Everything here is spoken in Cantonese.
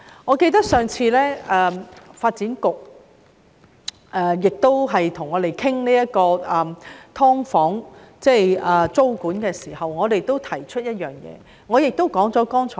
我記得當發展局上次與我們討論"劏房"的租管問題時，我亦提出了剛才所說的憂慮。